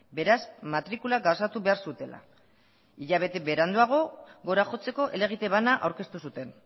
beraz matrikula gauzatu behar zutela hilabete beranduago gora jotzeko helegite bana aurkeztu zuten